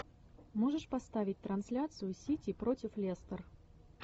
можешь поставить трансляцию сити против лестер